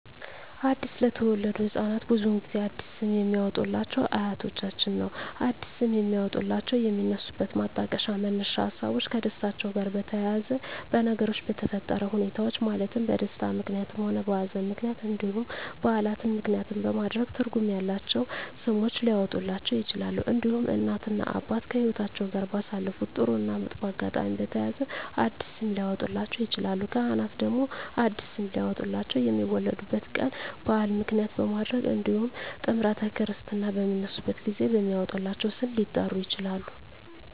አዲስ ለተወለዱ ህፃናት ብዙውን ጊዜ አዲስ ስም የሚያወጡሏቸው አያቶቻቸውን ነው አዲስ ስም የሚያወጧላቸው የሚነሱበት ማጣቀሻ መነሻ ሀሳቦች ከደስታቸው ጋር በተያያዘ በነገሮች በተፈጠረ ሁኔታዎች ማለትም በደስታም ምክንያትም ሆነ በሀዘንም ምክንያት እንዲሁም በዓላትን ምክንያትም በማድረግ ትርጉም ያላቸው ስሞች ሊያወጡላቸው ይችላሉ። እንዲሁም እናት እና አባት ከህይወትአቸው ጋር ባሳለፉት ጥሩ እና መጥፎ አጋጣሚ በተያያዘ አዲስ ስም ሊያወጡላቸው ይችላሉ። ካህናት ደግሞ አዲስ ስም ሊያወጡላቸው የሚወለዱበት ቀን በዓል ምክንያት በማድረግ እንዲሁም ጥምረተ ክርስትና በሚነሱበት ጊዜ በሚወጣላቸው ስም ሊጠሩ ይችላሉ።